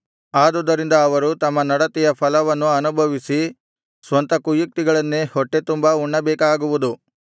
ಆದುದರಿಂದ ಅವರು ತಮ್ಮ ನಡತೆಯ ಫಲವನ್ನು ಅನುಭವಿಸಿ ಸ್ವಂತ ಕುಯುಕ್ತಿಗಳನ್ನೇ ಹೊಟ್ಟೆತುಂಬಾ ಉಣ್ಣಬೇಕಾಗುವುದು